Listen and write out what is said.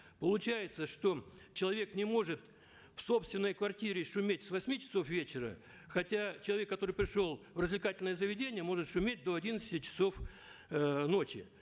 получается что человек не может в собственной квартире шуметь с восьми часов вечера хотя человек который пришел в развлекательное заведение может шуметь до одиннадцати часов э ночи